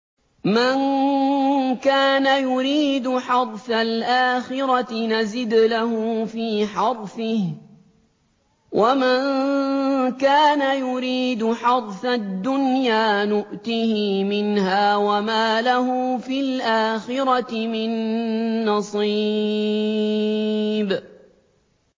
مَن كَانَ يُرِيدُ حَرْثَ الْآخِرَةِ نَزِدْ لَهُ فِي حَرْثِهِ ۖ وَمَن كَانَ يُرِيدُ حَرْثَ الدُّنْيَا نُؤْتِهِ مِنْهَا وَمَا لَهُ فِي الْآخِرَةِ مِن نَّصِيبٍ